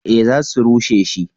Eh za su rushe shi